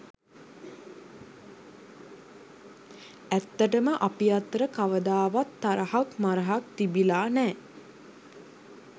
ඇත්තටම අපි අතර කවදාවත් තරහක් මරහක් තිබිලා නෑ.